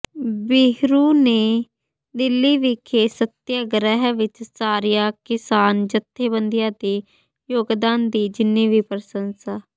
ਬਹਿਰੂ ਨੇ ਦਿੱਲੀ ਵਿਖੇ ਸੱਤਿਆਗ੍ਰਹਿ ਵਿਚ ਸਾਰੀਆਂ ਕਿਸਾਨ ਜਥੇਬੰਦੀਆਂ ਦੇ ਯੋਗਦਾਨ ਦੀ ਜਿੰਨੀ ਵੀ ਪ੍ਰਸੰਸਾ